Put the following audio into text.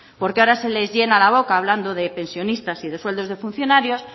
porque ahora se les llena la boca hablando de pensionistas y de sueldos de funcionarios